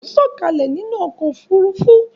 Àwọn èrò ń sọ̀kalẹ̀ nínú ọkò òfurufú.